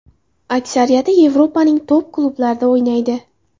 Aksariyati Yevropaning top-klublarida o‘ynaydi.